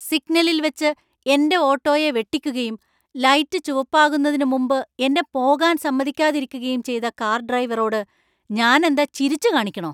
സിഗ്നലിൽ വച്ച് എന്‍റെ ഓട്ടോയെ വെട്ടിക്കുകയും, ലൈറ്റ് ചുവപ്പാകുന്നതിന് മുമ്പ് എന്നെ പോകാൻ സമ്മതിക്കാതിരിക്കുകയും ചെയ്ത കാർ ഡ്രൈവറോട് ഞാനെന്താ ചിരിച്ചുകാണിക്കണോ?